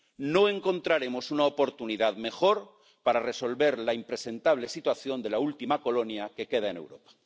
No encontraremos una oportunidad mejor para resolver la impresentable situación de la última colonia que queda en Europa.